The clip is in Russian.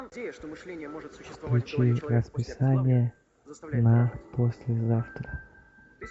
включи расписание на послезавтра